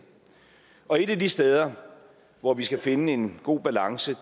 og et af de steder hvor vi skal finde en god balance